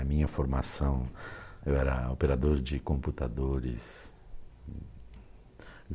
A minha formação, eu era operador de computadores.